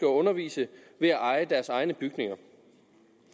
undervise ved at eje deres egne bygninger